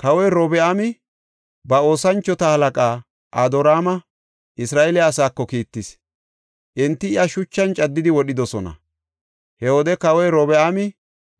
Kawoy Robi7aami ba oosanchota halaqaa Adoraama Isra7eele asaako kiittis; enti iya shuchan caddidi wodhidosona. He wode kawoy Robi7aami